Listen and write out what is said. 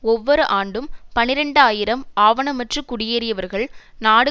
ஒவ்வொரு ஆண்டும் பனிரண்டு ஆயிரம் ஆவணமற்று குடியேறியவர்கள் நாடு